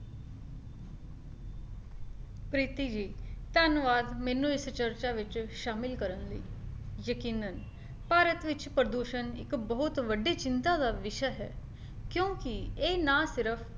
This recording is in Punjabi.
ਪ੍ਰੀਤਿ ਜੀ ਧੰਨਵਾਦ ਮੈਨੂੰ ਇਸ ਚਰਚਾ ਵਿੱਚ ਸ਼ਾਮਿਲ ਕਰਨ ਲਈ ਯਕੀਨਨ ਭਾਰਤ ਵਿੱਚ ਪ੍ਰਦੂਸ਼ਣ ਇੱਕ ਬਹੁਤ ਵੱਡੀ ਚਿੰਤਾ ਦਾ ਵਿਸ਼ਾ ਹੈ, ਕਿਉਂਕਿ ਇਹ ਨਾ ਸਿਰਫ